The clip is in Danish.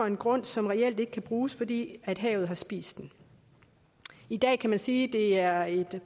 en grund som reelt ikke kan bruges fordi havet har spist den i dag kan man sige at det er et